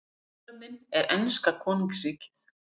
Eiginmaður minn er enska konungsríkið.